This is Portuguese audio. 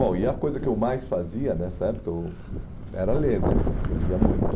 Bom, e a coisa que eu mais fazia nessa época eu era ler né, eu lia muito.